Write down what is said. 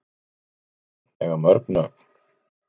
Kær börn eiga mörg nöfn